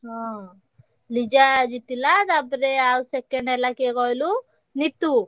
ହଁ ଲିଜା ଜିତିଲା ଆଉ ତାପରେ second ହେଲା କିଏ କହିଲୁ ନିତୁ।